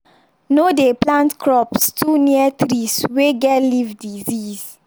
no dey plant crops too near trees wey get leaf disease.